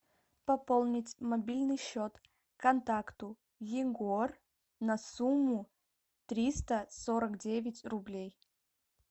пополнить мобильный счет контакту егор на сумму триста сорок девять рублей